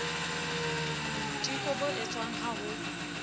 boiteko bo etswang ba ho